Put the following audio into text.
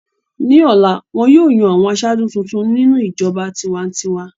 Ní ọ̀la, wọn yóò yan àwọn aṣáájú tuntun nínú ìjọba tiwa-n-tiwa.